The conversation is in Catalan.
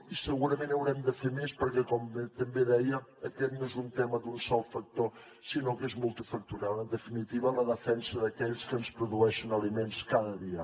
i segurament haurem de fer més perquè com també deia aquest no és un tema d’un sol factor sinó que és multifactorial en definitiva la defensa d’aquells que ens produeixen aliments cada dia